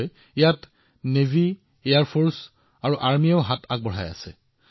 একে সময়তে বিদেশৰ পৰা অক্সিজেন অক্সিজেন কনচেণ্ট্ৰেটৰ আৰু ক্ৰায়জেনিক টেংকাৰবোৰো দেশলৈ অনা হৈছে